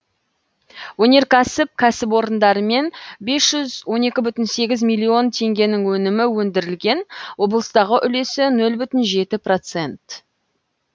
өнеркәсіп кәсіпорындарымен бес жүз он екі бүтін сегіз миллион теңгенің өнімі өндірілген облыстағы үлесі нөл бүтін жеті процент